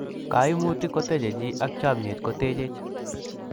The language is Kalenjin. kaimutik ko teje jii ak chamiet ko techej